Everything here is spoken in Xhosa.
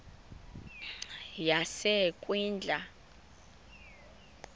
yasekwindla